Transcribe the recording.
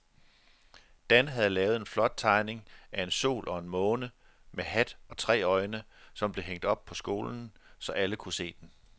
Dan havde lavet en flot tegning af en sol og en måne med hat og tre øjne, som blev hængt op i skolen, så alle kunne se den.